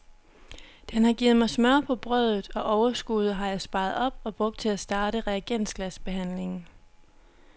Den har givet mig smør på brødet, og overskuddet har jeg sparet op og brugt til at starte reagensglasbehandlingen.